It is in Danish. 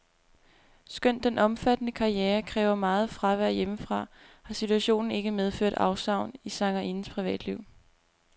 Skønt den omfattende karriere kræver meget fravær hjemmefra, har situationen ikke medført afsavn i sangerindens privatliv.